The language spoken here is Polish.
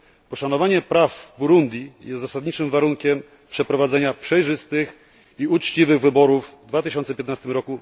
Poszanowanie praw w Burundi jest zasadniczym warunkiem przeprowadzenia przejrzystych i uczciwych wyborów w 2015 r.